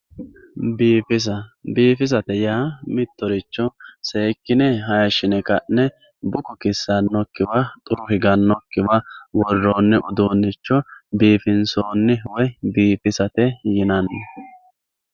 Biifisa biifisate yaa mitoricho seekine hayishine ka`ne buko kisanokiwa xuru higanokiwa woroni uduunicho niifinsooni woyi biifisate yinani.